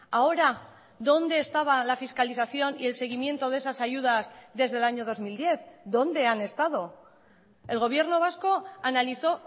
ahora dónde estaba la fiscalización y el seguimiento de esas ayudas desde el año dos mil diez dónde han estado el gobierno vasco analizó